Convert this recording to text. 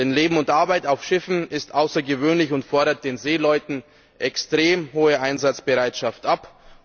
Denn das Leben und Arbeiten auf Schiffen ist außergewöhnlich und fordert den Seeleuten eine extrem hohe Einsatzbereitschaft ab.